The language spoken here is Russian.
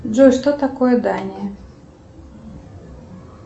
джой что такое дания